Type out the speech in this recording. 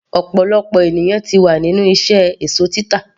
ọ̀pọ̀lọpọ̀ ènìyàn ti wà nínú iṣẹ́ èsó títà